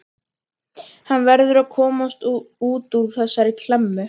Hann verður að komast út úr þessari klemmu.